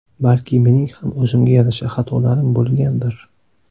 Balki mening ham o‘zimga yarasha xatolarim bo‘lgandir.